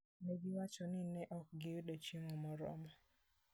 Ne giwacho ni ne ok giyud chiemo moromo.